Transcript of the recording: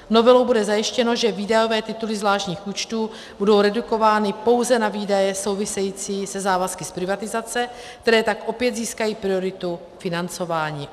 Novelou bude zajištěno, že výdajové tituly zvláštních účtů budou redukovány pouze na výdaje související se závazky z privatizace, které tak opět získají prioritu financování.